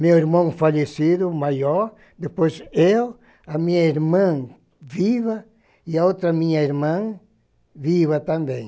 Meu irmão falecido, o maior, depois eu, a minha irmã viva, e a outra minha irmã viva também.